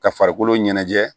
Ka farikolo ɲɛnajɛ